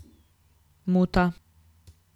Muta.